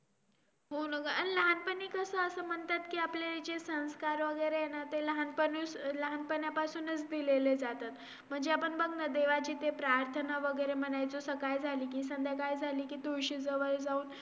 आणि त्यानंतर आमचा जो विषय आहे .